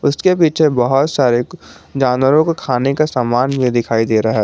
उसके पीछे बहुत सारे जानवरों को खाने का सामान भी दिखाई दे रहा है।